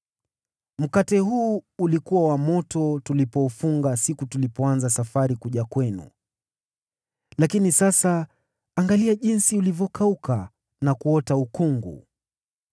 Mkate huu wetu ulikuwa wa moto tulipoufunga siku tulipoanza safari kuja kwenu, lakini sasa angalia jinsi ulivyokauka na kuota ukungu.